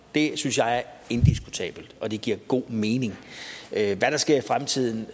det synes jeg er indiskutabelt og det giver god mening hvad der sker i fremtiden